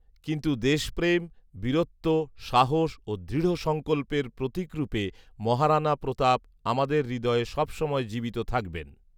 কিন্তু দেশপ্রেম, বীরত্ব, সাহস ও দৃঢসঙ্কল্পের প্রতীকরূপে মহারানা প্রতাপ আমাদের হৃদয়ে সবসময় জীবিত থাকবেন